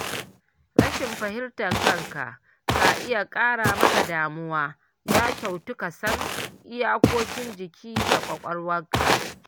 Rashin fahimtar kanka ka iya kara maka damuwa, ya kyautu kasan iyakokin jiki da ƙwaƙwalwarka.